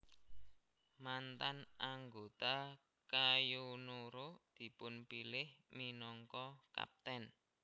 Mantan anggota Kayo Noro dipunpilih minangka kaptèn